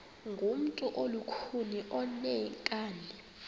ngumntu olukhuni oneenkani